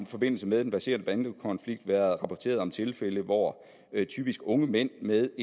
forbindelse med den verserende bandekonflikt været rapporteret om tilfælde hvor typisk unge mænd med